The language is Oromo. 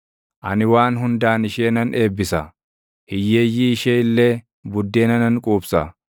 Ani waan hundaan ishee nan eebbisa; hiyyeeyyii ishee illee buddeena nan quubsa.